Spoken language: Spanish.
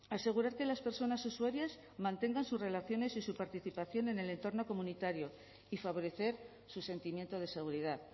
asegurar que las personas usuarias mantengan sus relaciones y su participación en el entorno comunitario y favorecer su sentimiento de seguridad